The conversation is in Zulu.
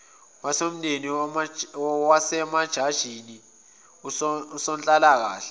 womndeni wasemajajini usonhlalakahle